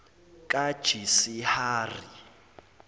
kajisihari